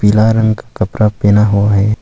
लाल रंग कपड़ा पहना हुआ है।